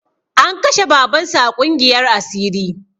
An kashe baban su a ƙungiyar asiri